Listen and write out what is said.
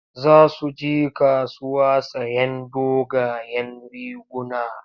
Za su je kasuwa sayen dogayen riguna.